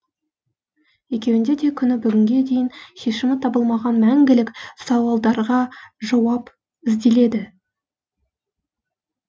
екеуінде де күні бүгінге дейін шешімі табылмаған мәңгілік сауалдарға жауап ізделеді